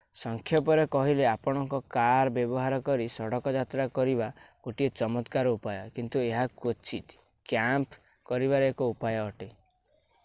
ସଂକ୍ଷେପରେ କହିଲେ ଆପଣଙ୍କର କାର୍ ବ୍ୟବହାର କରି ସଡ଼କ ଯାତ୍ରା କରିବା ଗୋଟିଏ ଚମତ୍କାର ଉପାୟ କିନ୍ତୁ ଏହା କ୍ୱଚିତ୍ କ୍ୟାମ୍ପ କରିବାର ଏକ ଉପାୟ ଅଟେ